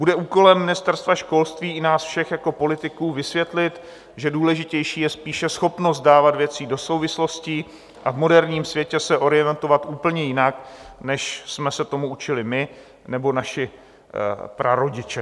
Bude úkolem Ministerstva školství i nás všech jako politiků vysvětlit, že důležitější je spíše schopnost dávat věci do souvislostí a v moderním světě se orientovat úplně jinak, než jsme se tomu učili my, nebo naši prarodiče.